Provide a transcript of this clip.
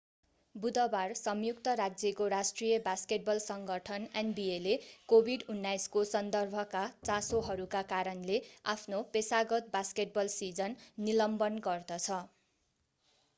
बुधबार संयुक्त राज्यको राष्ट्रिय बास्केटबल सङ्गठन nbaले covid-19 को सन्दर्भका चासोहरूका कारणले आफ्नो पेशागत बास्केटबल सिजन निलम्बन गर्दछ।